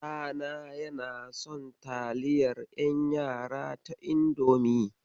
Ɗana yana son taliyar ƴan yara ta Indomi.